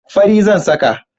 Fari zan saka.